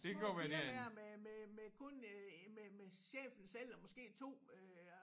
Små 4 hver med med med kun øh med med chefen selv og måske 2 øh